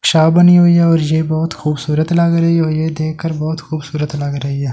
शा बनी हुई है और ये बहुत खूबसूरत लग रही है और ये देखकर बहुत खूबसूरत लग रही है।